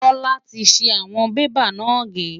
Bola ti ṣi ìwọ̀n bébà náà gé.